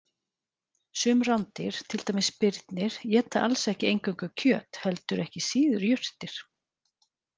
Sum rándýr, til dæmis birnir, éta alls ekki eingöngu kjöt heldur ekki síður jurtir.